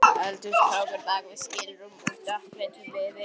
Eldhúskrókur bak við skilrúm úr dökkleitum viði.